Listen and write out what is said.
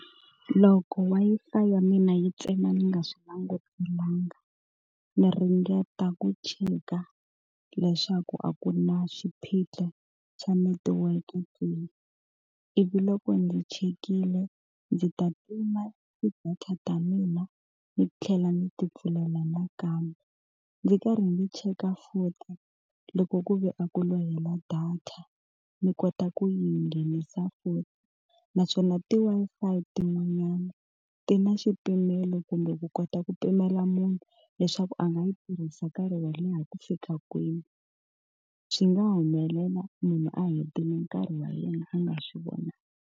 Loko Wi-Fi ya mina yi tsema ni nga swi langutelanga, ndzi ringeta ku cheka leswaku a ku na xiphiqo xa netiweke ke. Ivi loko ndzi chekile, ndzi ta tima ti-data ta mina ni tlhela ni ti pfulela nakambe. Ndzi karhi ndzi cheka futhi loko ku ve a ku lo hela data, ni kota ku yi nghenisa futhi. Naswona ti-Wi-Fi tin'wanyani ti na xipimelo kumbe ku kota ku pimela munhu leswaku a nga yi tirhisa nkarhi wo leha ku fika kwini, swi nga ha humelela munhu a hetile nkarhi wa yena a nga swi vonangi.